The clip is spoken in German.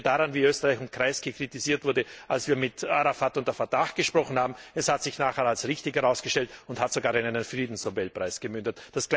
Ich erinnere daran, wie Österreich und Kreisky kritisiert wurden, als wir mit Arafat und der Fatah gesprochen haben, es hat sich nachher als richtig herausgestellt und hat sogar in einen Friedensnobelpreis gemündet.